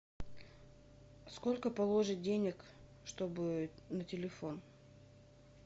сколько положить денег чтобы на телефон